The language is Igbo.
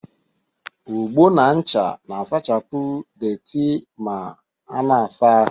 Ogbo na ncha na-asachapụ deeti ma ana-asa ahụ